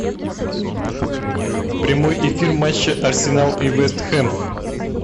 прямой эфир матча арсенал и вест хэм